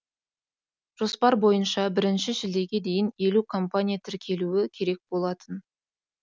жоспар бойынша бірінші шілдеге дейін елу компания тіркелуі керек болатын